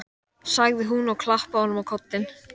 sagði hún og klappaði honum á kollinn.